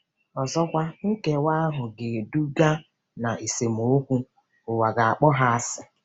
Ọzọkwa, nkewa ahụ ga-eduga ná esemokwu - ụwa ga-akpọ ha asị.